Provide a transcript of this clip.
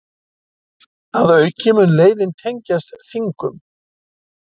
Að auki mun leiðin tengjast Þingum